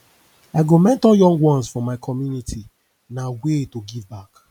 i go mentor young ones for my community na way to give back